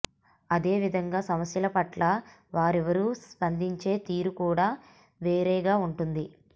అదే విధంగా సమస్యల పట్ల వారిరువురూ స్పందించే తీరు కూడా వేరేగా ఉంటుంది